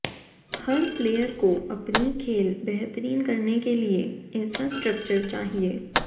हर player को अपनी खेल बेहतरीन करने के लिए इंफ्रास्ट्रक्चर चाहिए